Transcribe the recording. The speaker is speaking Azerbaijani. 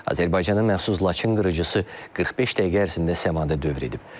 Azərbaycanın məxsus Laçın qırıcısı 45 dəqiqə ərzində səmada dövr edib.